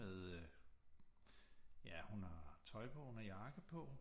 Med øh ja hun har tøj på hun har jakke på